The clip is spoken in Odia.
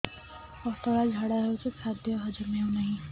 ପତଳା ଝାଡା ହେଉଛି ଖାଦ୍ୟ ହଜମ ହେଉନାହିଁ